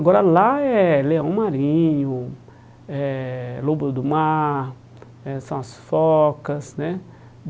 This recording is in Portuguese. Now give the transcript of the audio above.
Agora lá é leão marinho, é lobo do mar, eh são as focas, né?